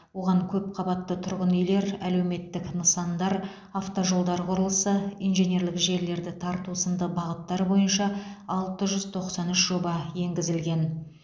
оған көпқабатты тұрғын үйлер әлеуметтік нысандар автожолдар құрылысы инженерлік желілерді тарту сынды бағыттар бойынша алты жүз тоқсан үш жоба енгізілген